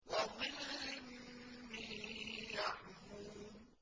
وَظِلٍّ مِّن يَحْمُومٍ